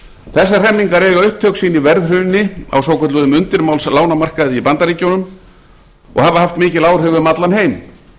þessar hremmingar eiga upptök sín í verðhruni á svokölluðum undirmálslánamarkaði í bandaríkjunum og hafa haft mikil áhrif um allan heim